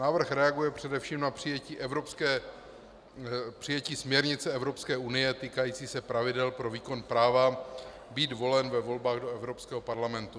Návrh reaguje především na přijetí směrnice Evropské unie týkající se pravidel pro výkon práva být volen ve volbách do Evropského parlamentu.